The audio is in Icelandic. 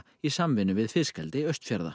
í samvinnu við fiskeldi Austfjarða